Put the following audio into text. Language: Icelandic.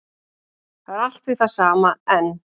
Það er allt við það sama enn